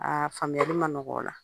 Aa faamuyali ma nɔgɔ o la